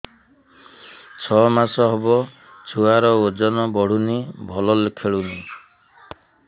ଛଅ ମାସ ହବ ଛୁଆର ଓଜନ ବଢୁନି ଭଲ ଖେଳୁନି